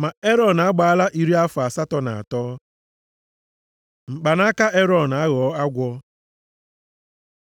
Ma Erọn agbaala iri afọ asatọ na atọ. Mkpanaka Erọn aghọọ agwọ